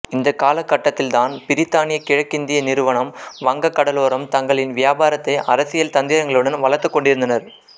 இந்த காலகட்டத்தில் தான் பிரித்தானிய கிழக்கிந்திய நிறுவனம் வங்கக் கடலோரம் தங்களின் வியாபாரத்தை அரசியல் தந்திரங்களுடன் வளர்த்துக் கொண்டிருந்தனர்